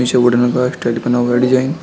पीछे वुडन का स्ट्रेट बना हुआ है डिजाइन ।